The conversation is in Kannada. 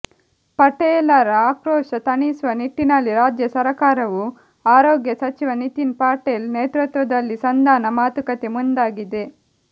ಪಟೇಲರ ಆಕ್ರೋಶ ತಣಿಸುವ ನಿಟ್ಟಿನಲ್ಲಿ ರಾಜ್ಯ ಸರಕಾರವು ಆರೋಗ್ಯ ಸಚಿವ ನಿತಿನ್ ಪಟೇಲ್ ನೇತೃತ್ವದಲ್ಲಿ ಸಂಧಾನ ಮಾತುಕತೆ ಮುಂದಾಗಿದೆ